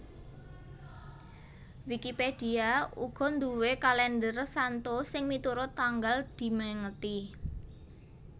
Wikipedia uga nduwé kalèndher santo sing miturut tanggal dimèngeti